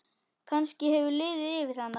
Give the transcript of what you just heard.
Kannski hefur liðið yfir hana?